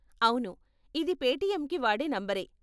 అవును, ఇది పేటీఎమ్కి వాడే నంబరే.